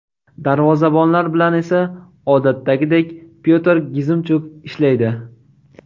Darvozabonlar bilan esa odatdagidek Pyotr Gizimchuk ishlaydi.